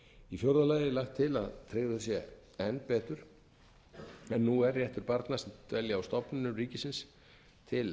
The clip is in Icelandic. í fjórða lagi er lagt til að tryggður sé enn betur en nú er réttur barna sem dvelja á stofnunum ríkisins til